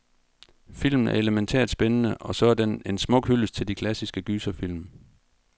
Filmen er elemæntært spændende, og så er den en smuk hyldest til de klassiske gyserfilm.